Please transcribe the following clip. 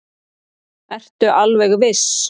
Ertu alveg viss?